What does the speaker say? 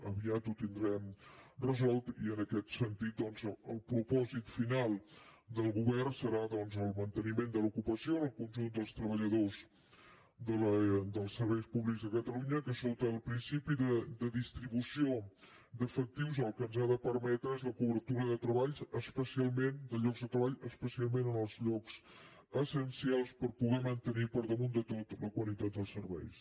aviat ho tindrem resolt i en aquest sentit doncs el propòsit final del govern serà el manteniment de l’ocupació al conjunt dels treballadors dels serveis públics de catalunya que sota el principi de distribució d’efectius el que ens ha de permetre és la cobertura de llocs de treball especialment en els llocs essencials per poder mantenir per damunt de tot la qualitat dels serveis